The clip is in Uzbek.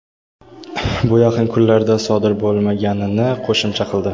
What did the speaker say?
bu yaqin kunlarda sodir bo‘lmaganini qo‘shimcha qildi.